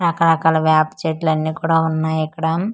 రకరకాల వేప చెట్లు అన్నీ కూడా ఉన్నాయి ఇక్కడ.